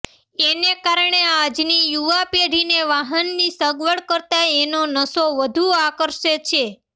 એને કારણે આજની યુવા પેઢીને વાહનની સગવડ કરતાં એનો નશો વધુ આકર્ષે છે